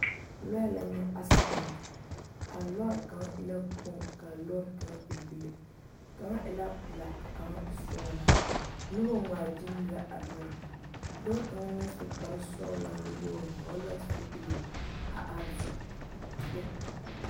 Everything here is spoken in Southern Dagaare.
Lɔɛ la nyɛ asedɛn a lɔre kaŋ e la kpoŋ ka a lɔre kaŋa e bile kaŋa e la pelaa ka kaŋa e sɔgelaa noba ŋmaa gyile la a lɔɛ dɔɔ kaŋ naŋ su kpar sɔgelaa nuwoori vɔgele la zupili a are su